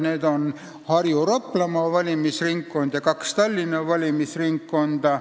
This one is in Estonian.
Need on Harju- ja Raplamaa valimisringkond ning kaks Tallinna valimisringkonda.